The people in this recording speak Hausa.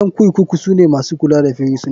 Ƴan kurkuku sune masu kula da firisuna.